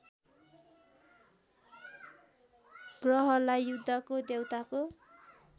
ग्रहलाई युद्धको देउताको